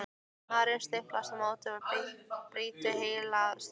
Maðurinn stimpast á móti og brýtur heilan stiga!